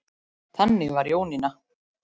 Þannig var Jónína.